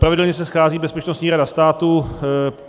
Pravidelně se schází Bezpečnostní rada státu.